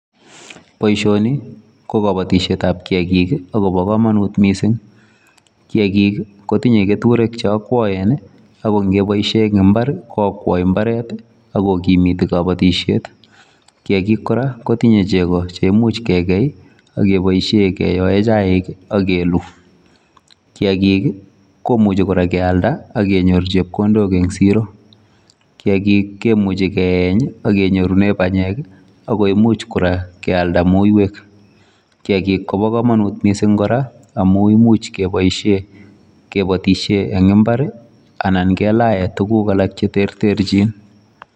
Boisioni ko kabatisyeet ab kiagik ii Kobo kamanut missing kiagik ii kotingei ketureek che akwaen ako ingebaishen en mbar ko akwai mbar ii ako ko kimituu boisiet kiagik kora kotingei chego cheimuuch kegei ii ak keyoen chaik ak keluu , kiagik kora kimuchei keyalda en siroo ak konyoor chepkondok kiagik kimuchei keeyeeny ak konyorunen panyeek ii ako imuche keyalda muiywek kiagik kobaa kamanut missing ako imuche kebaishen kebatisyeen en mbar ii anan kelaen tuguk alaak che ter terjiin.